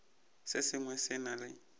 se sengwe se na le